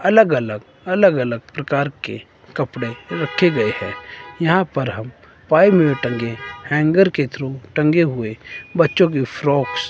अलग अलग अलग अलग प्रकार के कपड़े रखे गए हैं यहां पर हम फाइव मिनट टंगे हैंगर के थ्रू टंगे हुए बच्चों की फ्रॉक --